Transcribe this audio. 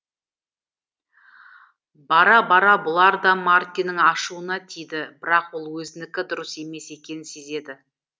бара бара бұлар да мартиннің ашуына тиді бірақ ол өзінікі дұрыс емес екенін сезеді